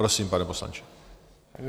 Prosím, pane poslanče.